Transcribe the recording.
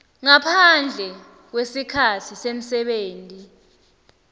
ngaphandle kwesikhatsi semsebenti